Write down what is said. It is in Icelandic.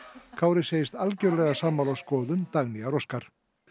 Kári segist algjörlega sammála skoðun Dagnýjar Óskar